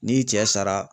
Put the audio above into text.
N'i cɛ sara